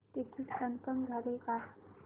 ticket confirm झाले का